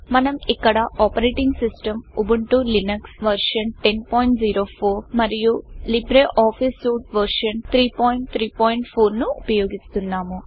మనం ఇక్కడ operating system Ubuntu Linux version 1004 మరియు లైబ్ర్ ఆఫీస్ సూయీట్ వర్షన్ 334ను ఉపయోగిస్తున్నాము